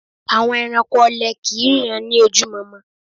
Àwọn ẹranko ọlẹ kìí ríran ní ojú mọmọ